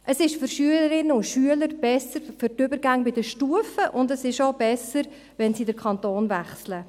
Es ist für Schülerinnen und Schüler besser für die Übergänge zwischen den Stufen, und es ist auch besser, wenn sie den Kanton wechseln.